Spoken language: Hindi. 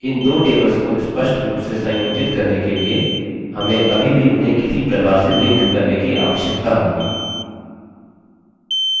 अतः इन दो tables को स्पष्ट रूप से संयोजित करने के लिए हमें अभी भी उन्हें किसी प्रकार से link करने की आवश्यकता होगी